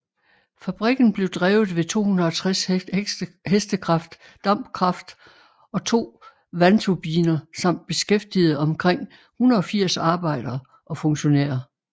Fabrikken blev drevet ved 260 hk dampkraft og to vandturbiner samt beskæftigede omkring 180 arbejdere og funktionærer